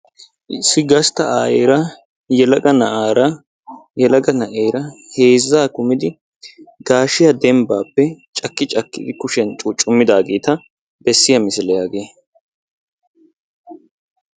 Issi gastta ayeera yelaga na'aara yelaga na'eera heezzaa kumidi gaashiya dembbaappe cakki cakkidi kushiyan cuucummidaageeta bessiya misiliya hagee.